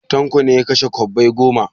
Tanko ne ya kashe kwabbai goma.